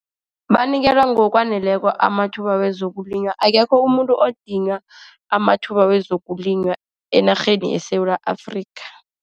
Banikelwa ngokwaneleko amathuba wezokulima. Akekho umuntu okudinywa amathuba wezokulima enarheni yeSewula Afrika.